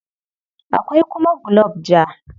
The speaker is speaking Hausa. Akwai kuma gulob ja.